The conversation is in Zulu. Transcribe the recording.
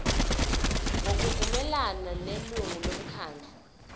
ngokuvumelana nelungu lomkhandlu